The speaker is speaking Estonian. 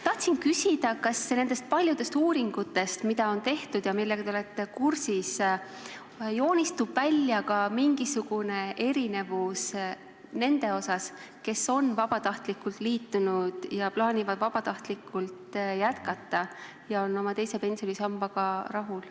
Tahtsin küsida, kas nendest paljudest uuringutest, mida on tehtud ja millega te olete kursis, joonistub välja ka mingisugune erisus nende osas, kes on vabatahtlikult liitunud ja plaanivad vabatahtlikult jätkata ja on oma teise pensionisambaga rahul.